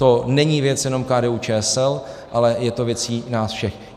To není věc jenom KDU-ČSL, ale je to věcí nás všech.